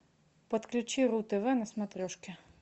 подключи ру тв на смотрешке